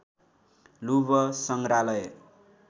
लुभ सङ्ग्रहालय